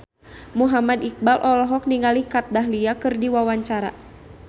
Muhammad Iqbal olohok ningali Kat Dahlia keur diwawancara